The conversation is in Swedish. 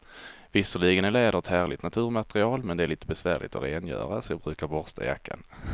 Visserligen är läder ett härligt naturmaterial, men det är lite besvärligt att rengöra, så jag brukar borsta jackan.